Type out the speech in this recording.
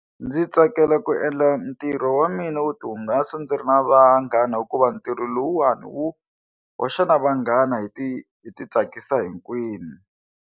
Ndzi tsakela ku endla ntirho wa mina wo tihungasa ndzi ri na vanghana hikuva ntirho lowuwani wu hoxa vanghana hi ti hi ti tsakisa hinkwenu.